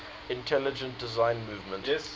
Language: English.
intelligent design movement